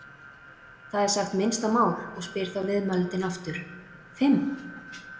Það er sagt minnsta mál og spyr þá viðmælandinn aftur: Fimm?